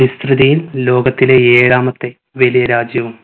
വിസ്തൃതിയിൽ ലോകത്തിലെ ഏഴാമത്തെ വലിയ രാജ്യവും